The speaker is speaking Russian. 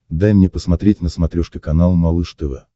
дай мне посмотреть на смотрешке канал малыш тв